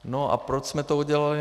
No a proč jsme to udělali?